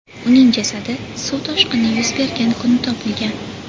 Uning jasadi suv toshqini yuz bergan kuni topilgan.